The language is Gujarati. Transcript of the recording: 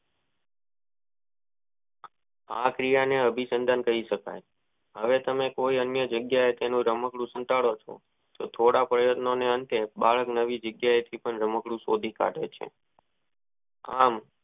આ ક્રિયા ને આભી સંગમ કહી શકાય હવે તમે કોએ જગ્યાએ રમકડું સંતાડોછો તો બાળક નવી જગ્યા એ થી પણ રમકડું શોધી કાઢે છે આમ.